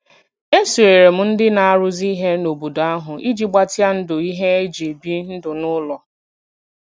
E sonyeere m ndị na-arụzi ihe n'obodo ahụ iji gbatịa ndụ ihe e ji ebi ndụ n'ụlọ.